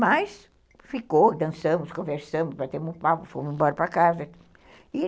Mas ficou, dançamos, conversamos, batemos papo, fomos embora para casa e